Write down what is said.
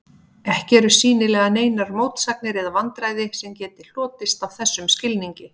Ekki eru sýnilega neinar mótsagnir eða vandræði sem geti hlotist af þessum skilningi.